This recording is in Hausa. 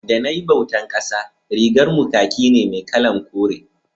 da nayi bautan ƙasa rigar mu kaki ne mai kalan kore